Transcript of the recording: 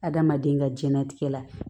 Adamaden ka diɲɛnatigɛ la